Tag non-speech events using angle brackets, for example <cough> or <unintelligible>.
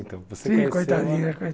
Sim, coitadinha <unintelligible>